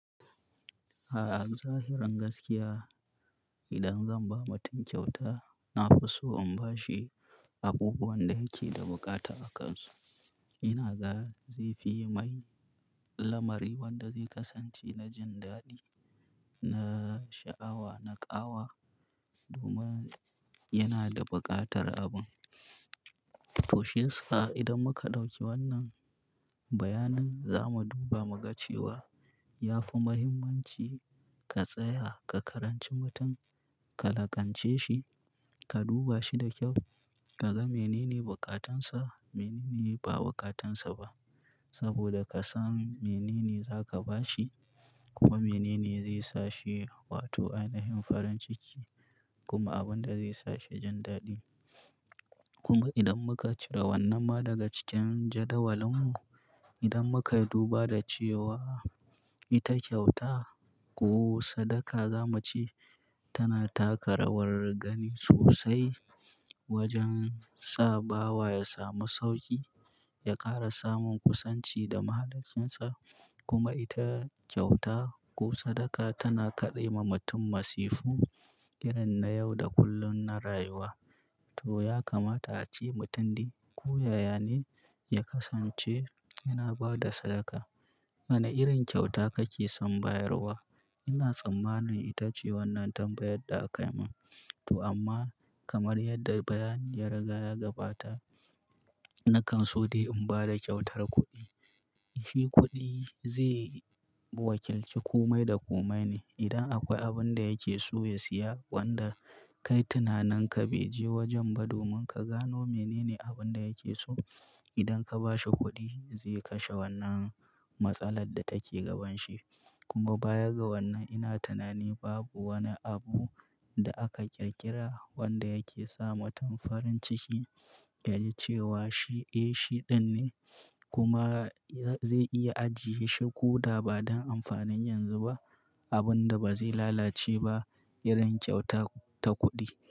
A zahiran gaskiya idan zan ba mutum kyauta, na fi so in bashi abubuwan da yake da bukata akansu. Ina ga zaifi mai lamari wanda zai kasance na jin daɗi, na sha'awa, na ƙawa domin yana da buƙatar abun. Toshi yasa idan muka ɗauki wannan bayanin, za mu duba mu ga cewa ya fi muhimmanci ka tsaya, ka karanci mutum, ka lakance shi, ka duba shi da kyau, ka ga menene bukatansa, menene ba bukatansa ba. Saboda ka san menene za ka ba shi kuma menene zai sa shi, wato, a yanayin farin ciki kuma abin da zai sa shi jin daɗi. Kuma idan muka cire wannan ma daga cikin jadawalinmu, idan muka duba da cewa ita kyauta ko sadaka za mu ce tana taka rawar gani sosai wajen sa bawa ya samu sauƙi, ya ƙara samun kusanci da mahaliccinsa. Kuma ita kyauta ko sadaka tana kaɗe ma mutum masifu, irin na yau da kullun na rayuwa. To ya kamata a ce mutumdi ko yaya ne ya kasance yana ba da sadaka. Wane irin kyauta kake son bayarwa? Ina tsammanin ita ce wannan tambayar da akai man. To amma kamar yadda bayani ya riga ya gabata, na kanso dai in ba da kyautar kuɗi. Shi kuɗi zai wakilci komai da komai ne. Idan akwai abin da yake so ya siya wanda kai tunanin ka beje wajen ba domin ka gano menene abin da yake so. Idan ka ba shi kuɗi zai kashe wannan matsalar da take gabanshi. Kuma bayan ga wannan ina tunani babu wani abu da aka ƙirƙira wanda yake sa mutum farin ciki. Yaji cewa shi, eh shi ɗin ne kuma zai iya ajiye shi ko da ba don amfanin yanzu ba, abin da ba zai lalace ba, irin kyauta ta kuɗi.